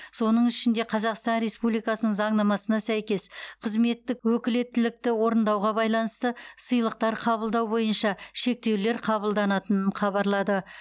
соның ішінде қазақстан республикасының заңнамасына сәйкес қызметтік өкілеттілікті орындауға байланысты сыйлықтар қабылдау бойынша шектеулер қабылданатынын хабарлады